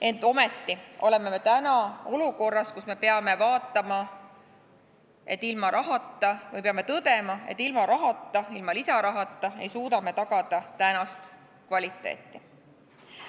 Ent ometi oleme me täna olukorras, kus me peame tõdema, et ilma lisarahata ei suuda me tagada tänast kvaliteeti.